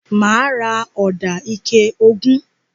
Mà á ra ọ̀dà ike ogún.